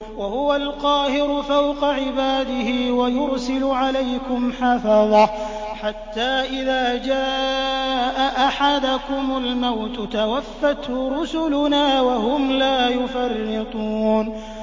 وَهُوَ الْقَاهِرُ فَوْقَ عِبَادِهِ ۖ وَيُرْسِلُ عَلَيْكُمْ حَفَظَةً حَتَّىٰ إِذَا جَاءَ أَحَدَكُمُ الْمَوْتُ تَوَفَّتْهُ رُسُلُنَا وَهُمْ لَا يُفَرِّطُونَ